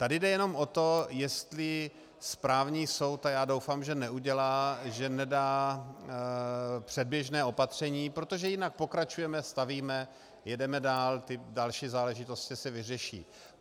Tady jde jenom o to, jestli správní soud, a já doufám, že neudělá, že nedá předběžné opatření, protože jinak pokračujeme, stavíme, jedeme dál, ty další záležitosti se vyřeší.